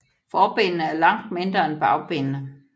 Forbenene er langt mindre end bagbenene